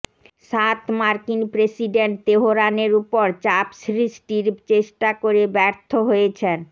সাত মার্কিন প্রেসিডেন্ট তেহরানের ওপর চাপ সৃষ্টির চেষ্টা করে ব্যর্থ হয়েছেন